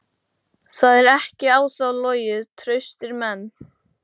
Það er ekki á þá logið: traustir menn.